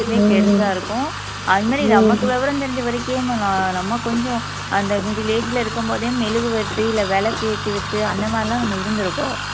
பெருசா இருக்கும் அது மாதிரி நமக்கு விவரம் தெரிஞ்ச வரைக்கும் நம்ம கொஞ்சம் அந்த middle age ல இருக்கும் போதே மெழுகுவர்த்தி இல்ல விளக்கு ஏத்தி வச்சு அந்த மாதிரி எல்லாம் நம்ம இருந்திருக்கோம்